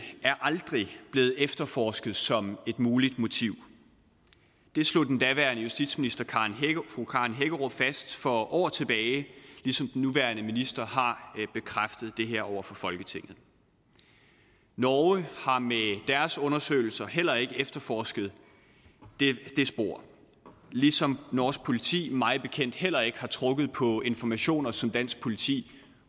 er aldrig blevet efterforsket som et muligt motiv det slog den daværende justitsminister fru karen hækkerup fast for år tilbage ligesom den nuværende minister har bekræftet det her over for folketinget norge har med deres undersøgelser heller ikke efterforsket det spor ligesom norsk politi mig bekendt heller ikke har trukket på informationer som dansk politi